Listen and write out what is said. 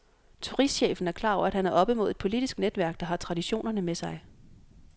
Turistchefen er klar over, at han er oppe mod et politisk netværk, der har traditionerne med sig.